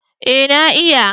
Eh na iya